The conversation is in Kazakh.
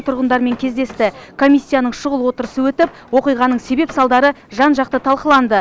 тұрғындармен кездесті комиссияның шұғыл отырысы өтіп оқиғаның себеп салдары жан жақты талқыланды